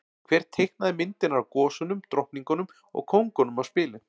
Hver teiknaði myndirnar af gosunum, drottningunum og kóngunum á spilin?